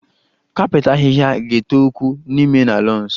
Kapet ahịhịa ga-eto ukwuu n'ime na lawns